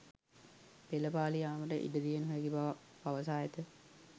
පෙළපාලි යාමට ඉඩදිය නොහැකි බව පවසා ඇත